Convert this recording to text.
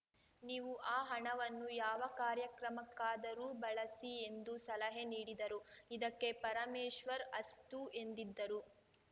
ನೀವು ಆ ಹಣವನ್ನು ಯಾವ ಕಾರ್ಯಕ್ರಮಕ್ಕಾದರೂ ಬಳಸಿ ಎಂದು ಸಲಹೆ ನೀಡಿದರು ಇದಕ್ಕೆ ಪರಮೇಶ್ವರ್‌ ಅಸ್ತು ಎಂದಿದ್ದರು